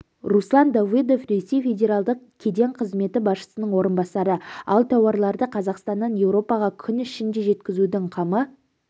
руслан давыдов ресей федералдық кеден қызметі басшысының орынбасары ал тауарларды қазақстаннан еуропаға күн ішінде жеткізудің қамы